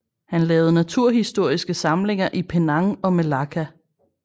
Han lavede naturhistoriske samlinger i Penang og Melaka